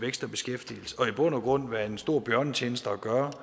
vækst og beskæftigelse og i bund og grund være en stor bjørnetjeneste at gøre